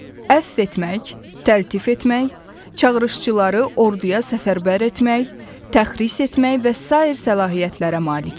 Əfv etmək, təltif etmək, çağırışçıları orduya səfərbər etmək, təxris etmək və sair səlahiyyətlərə malikdir.